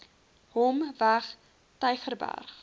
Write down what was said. hom weg tygerberg